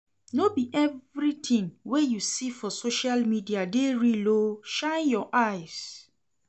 No be everytin wey you see for social media dey real o, shine your eyes.